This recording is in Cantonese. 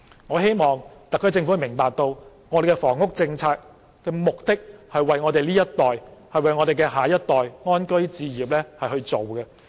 我希望特區政府明白，房屋政策的目的是為了我們這一代及下一代安居置業。